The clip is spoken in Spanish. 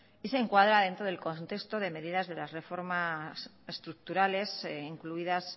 y se encuadra dentro del contexto de medidas de las reformas estructurales incluidas